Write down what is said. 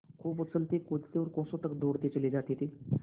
खूब उछलतेकूदते और कोसों तक दौड़ते चले जाते थे